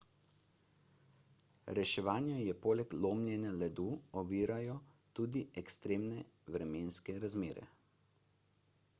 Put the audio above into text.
reševanje poleg lomljenja ledu ovirajo tudi ekstremne vremenske razmere